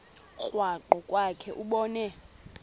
krwaqu kwakhe ubone